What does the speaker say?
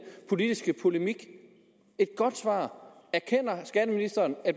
politiske polemik erkender skatteministeren at